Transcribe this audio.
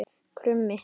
Krummi